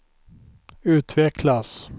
utvecklas